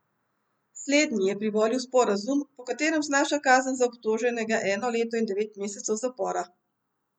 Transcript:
Slednji je privolil v sporazum, po katerem znaša kazen za obtoženega eno leto in devet mesecev zapora.